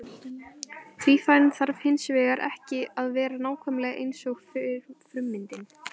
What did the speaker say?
Tvífarinn þarf hins vegar ekki að vera nákvæmlega eins og frummyndin.